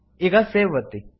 ಈಗ ಸೇವ್ ಒತ್ತಿ